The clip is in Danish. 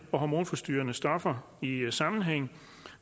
stoffer i eu så